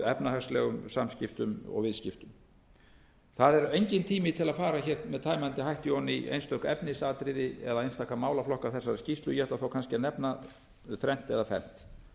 efnahagslegum samskiptum og viðskiptum það er enginn tími til að fara hér með tæmandi hætti ofan í einstök efnisatriði eða einstaka málaflokka þessarar skýrslu ég ætla þó kannski að nefna þrennt eða fernt